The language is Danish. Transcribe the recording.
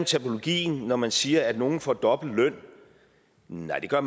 terminologien når man siger at nogle får dobbelt løn nej det gør